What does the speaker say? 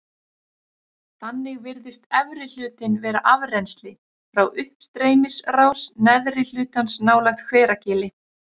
Þannig virðist efri hlutinn vera afrennsli frá uppstreymisrás neðri hlutans nálægt Hveragili.